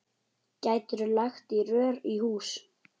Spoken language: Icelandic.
Gætirðu lagt rör í hús?